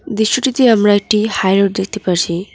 দৃশ্যটিতে আমরা একটি হাই রোড দেখতে পারছি।